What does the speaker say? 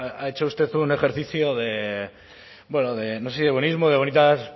ha hecho usted un ejercicio de bueno de no sé si de buenismo o de bonitas